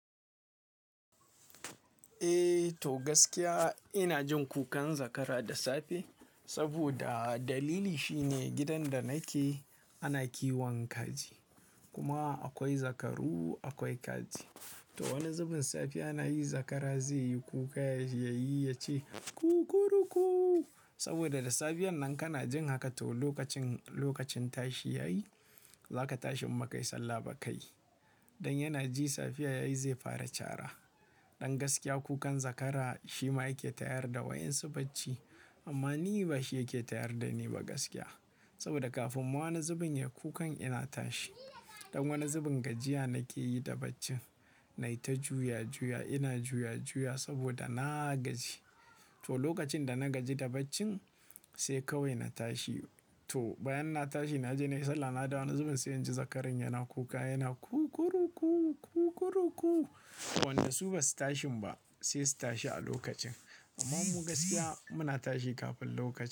Eh to gaskiya ina jin kukan zakara da safe saboda dalili shine gidan da nake ana kiwankaji kuma akwai zakaru akwai kaji. To wani zubin safe ana yi zakara zai yi kuka yayi yace kukuruku saboda da safiyar nan kana jin haka to lokacin, lokacin tashi yayi za ka tashi in baka yi sallah bakai. Dan yana ji safiya yayi zai fara cara. Dan gaskiya kukan zakara shi ma yake tayar da wayan su bacci amma ni ba shi yake tayar da ni ba gaskiya. Saboda kafin wani zubin ya kukan ina tashi. Dan wani zubin gajiya nake yi da bacci. Nai ta juya juya ina juya juya saboda na gaji. To lokacin da na gaji da bacci sai kawai na tashi. To bayan na tashi naje nai sallah na dawo wani zubin sai inji zakaran yana kuka yana kukuruku kukuruku. Wannan su ba su tashin ba sai su tashi a lokacin. Amma mu gaskiya muna tashi kafin lokacin.